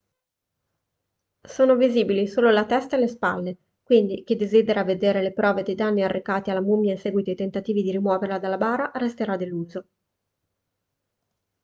sono visibili solo la testa e le spalle quindi chi desidera vedere le prove dei danni arrecati alla mummia in seguito ai tentativi di rimuoverla dalla bara resterà deluso